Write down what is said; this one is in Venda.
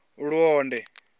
luonde